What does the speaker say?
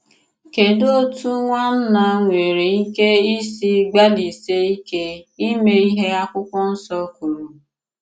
Kèdù òtù nwànnà nwere ìkè ìsì gbàlịsìè ìkè ìmè ìhé akwụ̀kwọ̀ Nsò k̀wùrù?